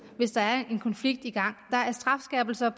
hvis der er en konflikt i gang der er strafskærpelser